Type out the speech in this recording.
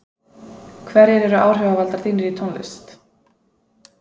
hverjir eru áhrifavaldar þínir í tónlist?